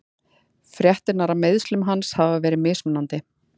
Fréttirnar af meiðslum hans hafa verið mismunandi.